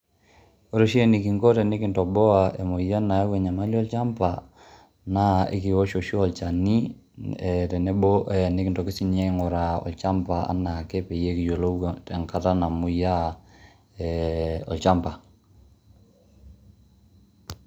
Ore oshi eninko enekintoboa emoyian nayau enyamali olchamba naa ekiwosh oshi olchani ee tenebo ee nenkitoki sininye aing'uraa olchamba anaa ake pee kiyolou enkata namoyiaa e olchamba.